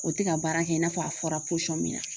O tɛ ka baara kɛ i n'a fɔ a fɔra min na